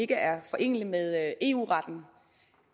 ikke er forenelig med eu retten